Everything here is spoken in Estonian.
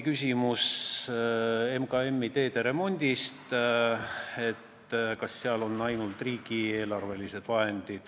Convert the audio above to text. Küsiti MKM-i ja teede remondi kohta, et kas seal on ainult riigieelarvelised vahendid.